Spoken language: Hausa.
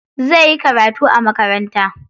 Zai yi karatu a makaranta.